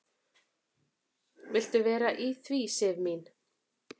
"""Viltu vera að því, Sif mín?"""